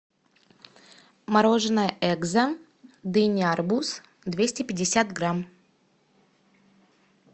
мороженое экзо дыня арбуз двести пятьдесят грамм